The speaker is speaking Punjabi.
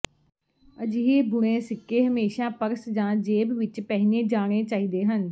ਅਜਿਹੇ ਬੁਣੇ ਸਿੱਕੇ ਹਮੇਸ਼ਾ ਪਰਸ ਜਾਂ ਜੇਬ ਵਿਚ ਪਹਿਨੇ ਜਾਣੇ ਚਾਹੀਦੇ ਹਨ